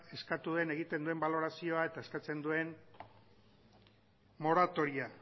eskatu duen egiten duen balorazioa eta eskatzen duen moratoriarekin